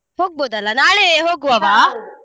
ಹೋಗ್ಬೋದಲ್ಲಾ ನಾಳೆ ?